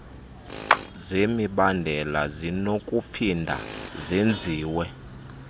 zemibandela zinokuphinda zenziwe